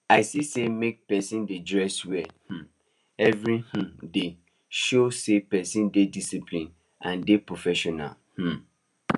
i see say make person dey dress well um every um day show say person dey discipline and dey professional um